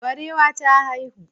Barewa ta haihu.